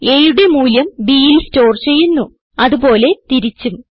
aയുടെ മൂല്യം bൽ സ്റ്റോർ ചെയ്യുന്നു അത് പോലെ തിരിച്ചും